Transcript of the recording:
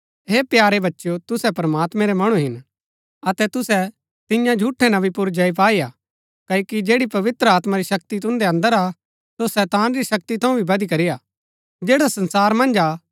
हे प्यारे बच्चेओ तुसै प्रमात्मैं रै मणु हिन अतै तुसै तियां झूठै नबी पुर जय पाई हा क्ओकि जैड़ी पवित्र आत्मा री शक्ति तुन्दै अन्दर हा सो शैतान री शक्ति थऊँ भी बदीकरी हा जैड़ा संसारा मन्ज हा